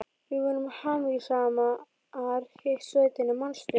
Við vorum hamingjusamar í sveitinni, manstu.